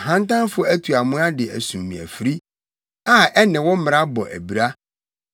Ahantanfo atu amoa de asum me afiri, a ɛne wo mmara bɔ abira.